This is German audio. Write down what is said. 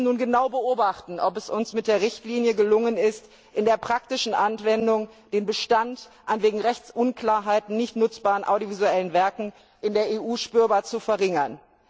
Wir müssen nun genau beobachten, ob es uns mit der Richtlinie gelungen ist, in der praktischen Anwendung den Bestand an wegen Rechtsunklarheit nicht nutzbaren audiovisuellen Werken in der Europäischen Union spürbar zu verringern.